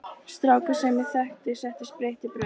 Strákur sem ég þekki setti spritt í brauð.